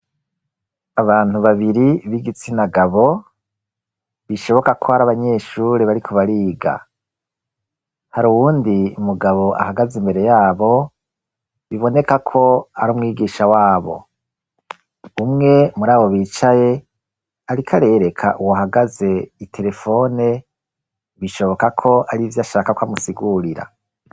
Abantu babiri b'igitsina gabo bishoboka ko ari abanyeshure bariko bariga hari uwundi mugabo ahagaze imbere yabo biboneka ko ari umwigisha wabo umwe muri abo bicaye ariko arereka uwo hagaze iterefone bishoboka ko arivyo ashaka ko amusigurira.